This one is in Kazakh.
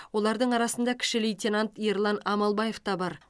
олардың арасында кіші лейтенант ерлан амалбаев та бар